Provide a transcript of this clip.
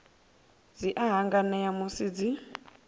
dzi a hanganea musi dzi